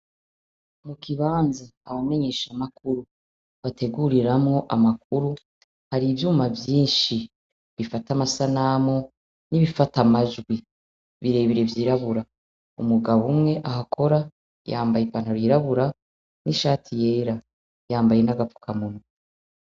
Mu kibanza abamenyeshamakuru bateguriramwo amakuru hari ivyuma vyinshi bifata amasanamu n'ibifata amajwi birebire vyirabura. Umugabo umwe ahakora yambaye ipantaro yirabura n'ishati yera. Yambaye n'agapfukamunwa.